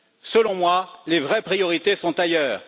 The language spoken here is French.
Selon moi, les vraies priorités sont ailleurs.